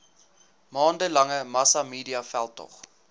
maande lange massamediaveldtog